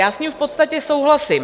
Já s ním v podstatě souhlasím.